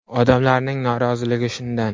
Odamlarning noroziligi shundan.